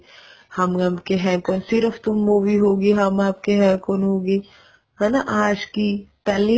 ਹਮ Aapke Hain Koun Sirf Tum movie ਹੋਗੀ ਹਮ ਆਪਕੇ ਹੈਂ ਕੋਣ ਹੋਗੀ ਹਨਾ ਆਸ਼ਕੀ ਪਹਿਲੀ